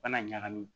Kana ɲagami